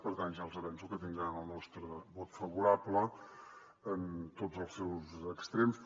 per tant ja els avanço que tindran el nostre vot favorable en tots els seus extrems